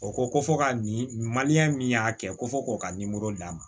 O ko ko fo ka nin min y'a kɛ ko fɔ k'o ka nimoro d'a ma